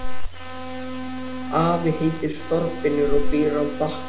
Afi heitir Þorfinnur og býr á Bakka